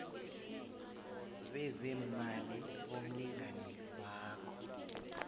bezeemali bomlingani wakho